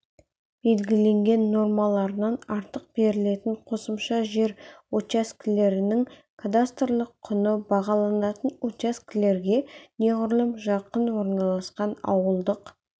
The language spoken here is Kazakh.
белгіленген нормаларынан артық берілетін қосымша жер учаскелерінің кадастрлық құны бағаланатын учаскелерге неғұрлым жақын орналасқан ауылдық